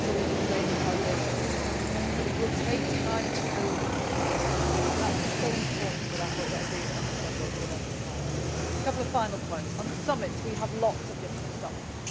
get this into being. We can lay the foundation stones but it will take time to build it, and that is so important that I hope that every honourable Member will understand. A couple of final points. On summits we have lots